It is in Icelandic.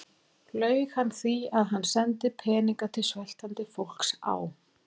Laug hann því, að hann sendi peninga til sveltandi fólks á